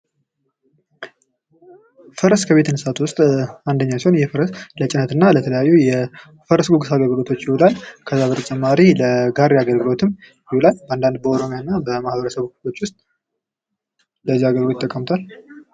ፈረስ ከቤት እንስሳት ውስጥ አንደኛው ሲሆን። ይህ ፈረስ ለተለያዩ የፈረስ ጉግስ አገልግሎት ይውላል። ከዛ በተጨማሪ ለጋሪ አገልግሎትም ይውላል። አንዳንድ በኦሮሚያ አና ማህበረሰቦች ውስጥ ለዛ አገልግሎት ይጠቀሙታል።